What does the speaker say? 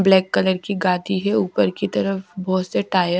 Black colour की गाती है ऊपर की तरफ बहुत से टायर।